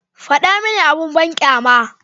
Faɗa mini abin banƙyama.